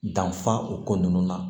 Danfa o ko ninnu na